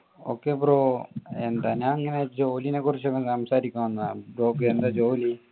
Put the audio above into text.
okay bro എന്താ ഞാൻ ഇങ്ങനെ ജോലിനെ കുറിച്ച് ഇങ്ങനെ സംസാരിക്കാൻ വന്നതാണ്. bro ക്ക് എന്താ ജോലി?